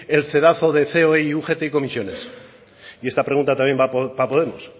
el cedazo de ceoe y ugt y comisiones y esta pregunta también va a podemos